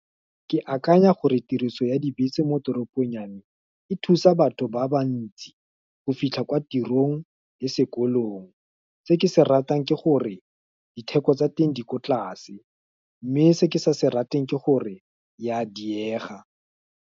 Ke akanya gore tiriso ya dibese mo toropong ya me, e thusa batho ba bantsi, go fitlha kwa tirong, le sekolong, se ke se ratang ke gore, diteko tsa teng di ko tlase, mme se ke sa se rateng ke gore, ya diega.